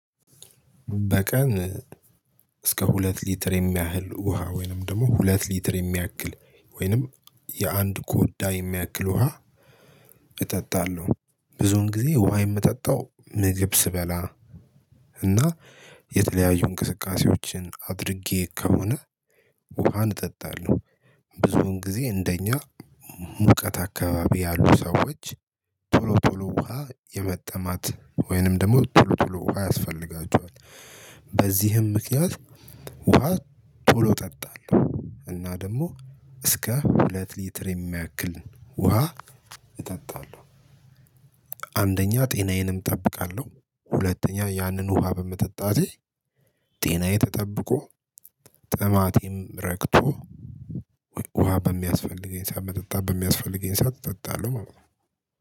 በቀን እስከ ሁለት ሊትር የሚያህል ውሃ ወይንም ደግሞ ሁለት ሊትር የሚያክል ወይንም የአንድ ኮዳ የሚያክል ውሃ። እጠጣለሁ ብዙን ጊዜ ውሃ የምጠጣው ምግብ ስበላ። እና የተለያዩ እንቅስቃሴዎችን አድርጌ ከሆነ። ውሃን እጠጣለሁ። ብዙን ጊዜ እንደኛ ሙቀት አካባቢ ያሉ ሰዎች ቶሎ ቶሎ ውሃ የመጠማት ወይንም ደግሞ ቶሎ ቶሎ ውሃ ያስፈልጋቸዋል። በዚህም ምክንያት ውሃ ቶሎ እጠጣለህ እና ደግሞ እስከ ሁለት ሊትር የሚያክል ውሃ እጠጣለሁ። አንደኛ ጤናዬንም እጠብቃለሁ። ሁለተኛ ያንን ውሃ በመጠጣቴ ጤናዬ ተጠብቆ ጥማቴም ረክቶ ውሃ በሚያስፈልገኝ ሰዓት መጠጣት በሚያስፈልገኝ እጠጣለሁ ማለት ነው።